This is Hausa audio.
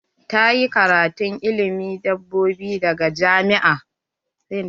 Ta yi karatun ilimin dabbobi daga jami'a.